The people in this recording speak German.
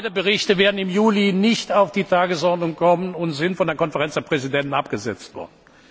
geht. Beide Berichte werden im Juli nicht auf die Tagesordnung kommen und sind von der Konferenz der Präsidenten abgesetzt worden.